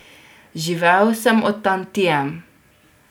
Živel sem od tantiem.